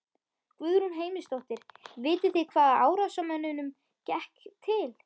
Guðrún Heimisdóttir: Vitið þið hvaða árásarmönnunum gekk til?